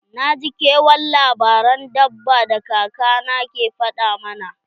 Na ji kewan labaran dabba da kaka na ke faɗa mana.